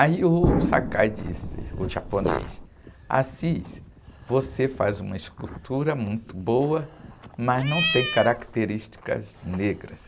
Aí o Sakai disse, o japonês, Assis, você faz uma escultura muito boa, mas não tem características negras.